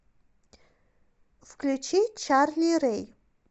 включи чарли рэй